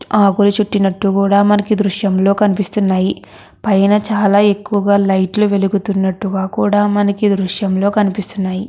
ఆకులు చుటినట్టు కూడా మనకి ఈ దృశ్యం లో కనిపిస్తున్నాయి పైన చాలా ఎక్కువగా లైట్లు వెలుగుతున్నట్టుగా కూడా మనకి ఈ దృశ్యం లో కనిపిస్తున్నాయి.